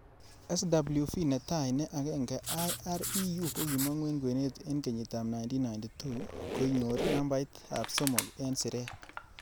SWV netai ne agenge'Ireu ' kokimongu en kwenet en kenyitab 1992,koinyor nambaitab somok en siret.